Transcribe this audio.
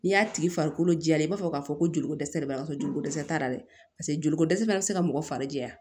N'i y'a tigi farikolo jɛya i b'a fɔ k'a fɔ ko joli ko dɛsɛ de b'a la joliko dɛsɛ t'a la dɛ paseke joli ko dɛsɛ bɛ se ka mɔgɔ fari jɛya